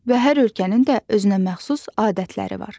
Və hər ölkənin də özünəməxsus adətləri var.